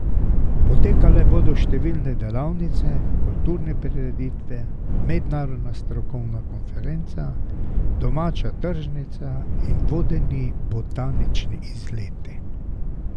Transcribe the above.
Potekale bodo številne delavnice, kulturne prireditve, mednarodna strokovna konferenca, domača tržnica in vodeni botanični izleti.